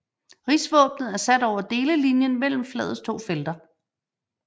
Rigsvåbnet er sat over delelinjen mellem flagets to felter